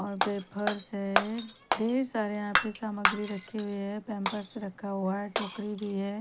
और पेपर्स हैं ढेर सारी यहाँ पे सामग्री रखी हुई हैं पैम्पर रखा हुआ है टोकरी भी हैं।